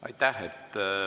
Aitäh!